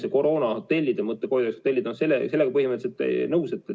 See koroonahotellide mõte, sellega ma olen põhimõtteliselt nõus.